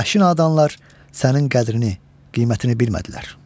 Bu vəhşi nadanlar sənin qədrini, qiymətini bilmədilər.